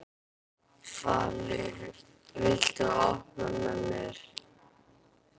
Falur, viltu hoppa með mér?